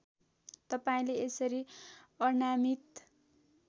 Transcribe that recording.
तपाईँले यसरी अनामीत